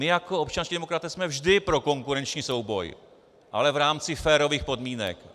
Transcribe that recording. My jako občanští demokraté jsme vždy pro konkurenční souboj, ale v rámci férových podmínek.